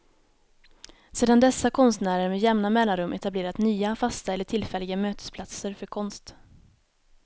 Sedan dess har konstnärer med jämna mellanrum etablerat nya, fasta eller tillfälliga, mötesplatser för konst.